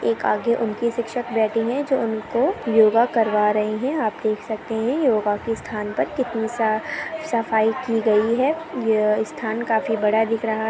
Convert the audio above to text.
एक आगे उनकी शिक्षक बेठी है जो उनको योगा करवा रही है आप देख सकते है योगा के स्थान पर कितनी सा सफाई की गई है यह स्थान काफी बड़ा दिख रहा है।